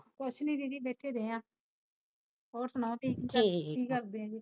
ਕੁਛ ਨੀ ਦੀਦੀ ਬੈਠੇ ਡਏ ਆ ਹੋਰ ਸੁਣਾਓ ਤੁਸੀਂ ਕੀ ਕਰਦੇ ਜੇ